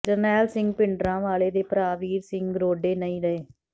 ਜਰਨੈਲ ਸਿੰਘ ਭਿੰਡਰਾਂਵਾਲੇ ਦੇ ਭਰਾ ਵੀਰ ਸਿੰਘ ਰੋਡੇ ਨਹੀਂ ਰਹੇ